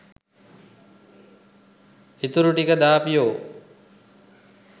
ඉතුරු ටික දාපියෝ